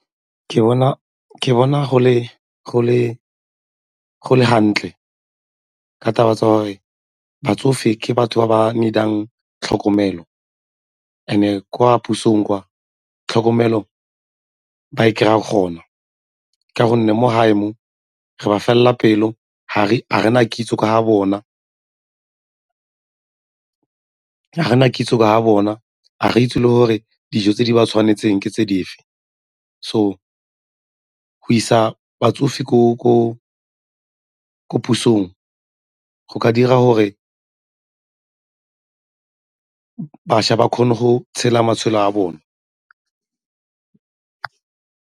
Ke bona go le hantle ka taba tsa gore batsofe ke batho ba ba need-ang tlhokomelo and-e kwa pusong kwa tlhokomelo ba e kry-a gona ka gonne mo gae mo re ba felela pelo ga re na kitso ka ga bona kitso ka ga bona, ga re itse le gore dijo tse di ba tshwanetseng ke tse dife. So go isa batsofe ko pusong go ka dira gore bašwa ba kgone go tshela matshelo a bone.